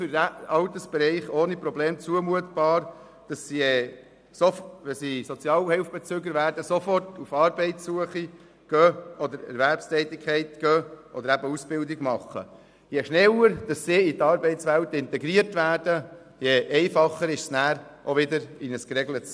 Für Personen in dieser Alterskategorie ist es absolut zumutbar, sofort auf Arbeitssuche zu gehen, eine Stelle anzutreten oder eine Ausbildung zu absolvieren, wenn sie Sozialhilfebeziehende werden.